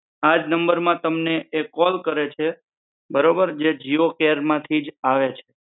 આજ નંબર માં એ તમને એ કોલ કરે છે બરોબર જે જીઓ કેર માંથીજ આવે છે